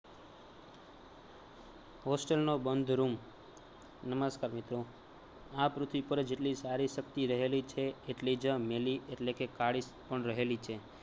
hostel નો બંધ room નમસ્કાર મિત્રો, આ પૃથ્વી પર જેટલી સારી શક્તિ રહેલી છે એટલી જ મેલી એટલે કે કાળી પણ રહેલી છે